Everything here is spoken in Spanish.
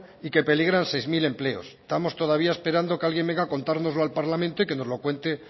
y que peligran seis mil empleos estamos todavía esperando que alguien venga a contárnoslo al parlamento y que nos lo cuente